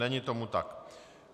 Není tomu tak.